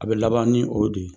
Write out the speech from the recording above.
A bɛ laban ni o de ye